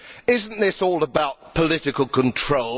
Isn't this all about political control?